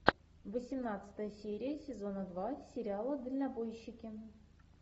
восемнадцатая серия сезона два сериала дальнобойщики